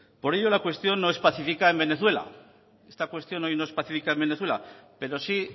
por ello la cuestión no es pacífica en venezuela esta cuestión hoy no es pacífica en venezuela pero sí